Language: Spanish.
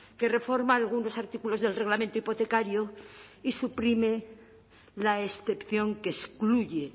que reforma algunos artículos del reglamento hipotecario y suprime la excepción que excluye